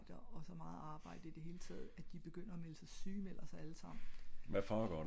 og så meget arbejde i det hele taget at de begynder at melde sig syge sygemelder sig alle sammen